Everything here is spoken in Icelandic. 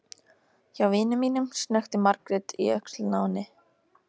Hjá vini mínum, snökti Margrét í öxlina á henni.